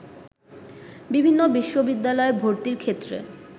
বিভিন্ন বিশ্ববিদ্যালয়ে ভর্তির ক্ষেত্রে